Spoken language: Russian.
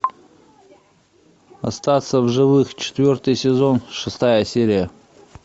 остаться в живых четвертый сезон шестая серия